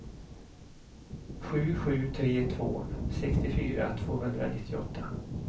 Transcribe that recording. sju sju tre två sextiofyra tvåhundranittioåtta